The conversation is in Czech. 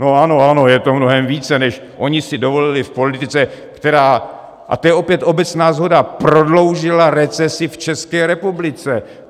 No ano, ano, je to mnohem více, než oni si dovolili v politice, která - a to je opět obecná shoda - prodloužila recesi v České republice.